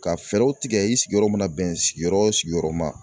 Ka fɛɛrɛw tigɛ i sigiyɔrɔ mana bɛn sigiyɔrɔ sigiyɔrɔma.